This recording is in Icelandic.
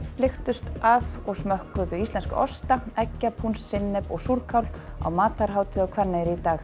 flykktust að og smökkuðu íslenska osta sinnep og súrkál á matarhátíð á Hvanneyri í dag